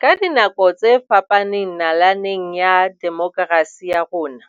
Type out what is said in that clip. Ka dinako tse fapaneng nalaneng ya demokerasi ya rona,